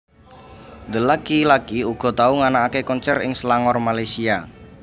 The Lucky laki uga tau nganakaké konser ing Selangor Malaysia